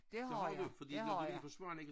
Det har jeg det har jeg